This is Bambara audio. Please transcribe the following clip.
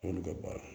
N'olu ka baara ye